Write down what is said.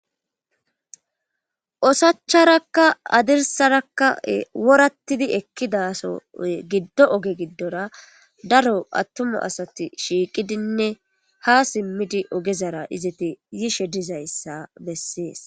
osacharakka adirsarakka worattidi ekkidaso giddo oge giddora daro attuma asati shiiqidinne ha simmidi ogezara izati yishe dizayssa bessees